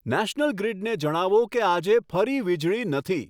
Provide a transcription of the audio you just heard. national ગ્રિડને જણાવો કે આજે ફરી વીજળી નથી